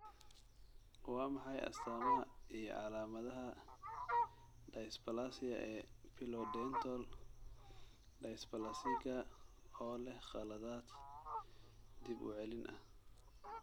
Waa maxay astamahaa iyo calaamadaha dysplasia ee Pilodental dysplasiga oo leh khaladaad dib u celin ah?